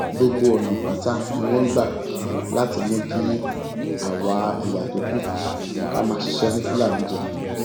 gbogbo ọnà pátá ni wọn ń gbà láti mú kí àwa ẹyà tó kù ká máa ṣiṣẹ fún fúlàní jẹ